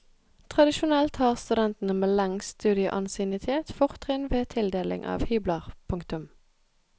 Tradisjonelt har studentene med lengst studieansiennitet fortrinn ved tildeling av hybler. punktum